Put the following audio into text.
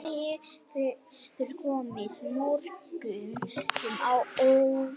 Þetta hefur komið mörgum á óvart